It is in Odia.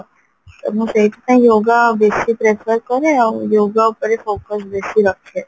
ମୁଁ ସେଇଥିପାଇଁ yoga ବେଶି pressure କରେ ଆଉ yoga ଉପରେ focus ବେଶି ରଖେ